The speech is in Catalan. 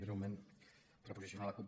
breument per posicionar la cup